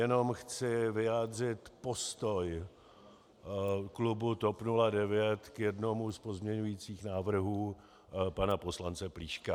Jenom chci vyjádřit postoj klubu TOP 09 k jednomu z pozměňovacích návrhů pana poslance Plíška.